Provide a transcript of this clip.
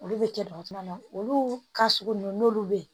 Olu bɛ kɛ dɔgɔtɔrɔ na olu ka sugu ninnu n'olu bɛ yen